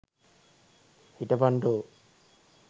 හිටපන් ඩෝ!